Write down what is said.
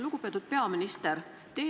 Lugupeetud peaminister!